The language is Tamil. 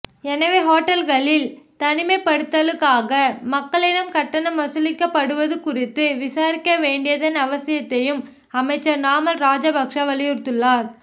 எனவே ஹோட்டல்களில் தனிமைப்படுத்தலுக்காக மக்களிடம் கட்டணம் வசூலிக்கப்படுவது குறித்து விசாரிக்க வேண்டியதன் அவசியத்தையும் அமைச்சர் நாமல் ராஜபக்ஷ வலியுறுத்தியுள்ளார்